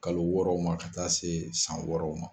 Kalo wɔɔrɔw ma ka taa se san wɔɔrɔw ma.